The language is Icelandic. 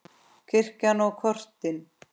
Kirkjan og kortin.